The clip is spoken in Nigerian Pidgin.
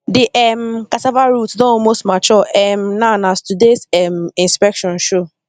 the um cassava roots don almost mature um now as todays um inspection show